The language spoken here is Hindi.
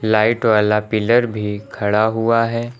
लाइट वाला पिलर भी खड़ा हुआ है।